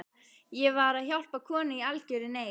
Ég var að hjálpa konu í algjörri neyð.